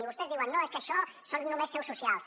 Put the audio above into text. i vostès diuen no és que això són només seus socials